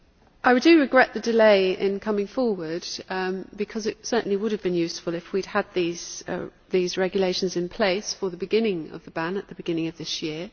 I do regret the delay in coming forward, because it certainly would have been useful if we had had these regulations in place for the beginning of the ban at the beginning of this year.